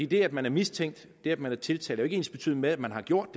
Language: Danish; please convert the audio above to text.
det at man er mistænkt det at man er tiltalt ikke ensbetydende med at man har gjort